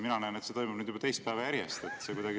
Mina näen, et see toimub nüüd juba teist päeva järjest.